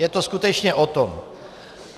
Je to skutečně o tom.